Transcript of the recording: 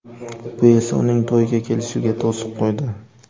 Bu esa uning to‘yga kelishiga to‘siq qo‘ydi.